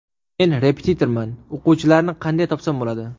Men repetitorman, o‘quvchilarni qanday topsam bo‘ladi?.